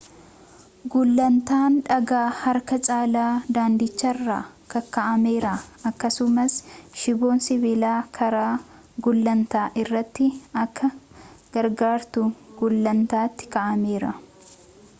gulantaandhagaa harka caalaa daandichaarra kaka'ameera akkasumas shiboon sibilaa karaa gulaantaa irratti akka gargartuu gulaantati kaa'ameera